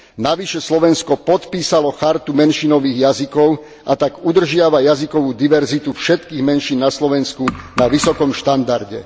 Navyše Slovensko podpísalo Chartu menšinových jazykov a tak udržiava jazykovú diverzitu všetkých menšín na Slovensku na vysokom štandarde.